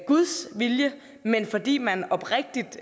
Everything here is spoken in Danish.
guds vilje men fordi man oprigtigt